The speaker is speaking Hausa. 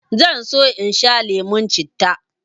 zan so in sha lemon citta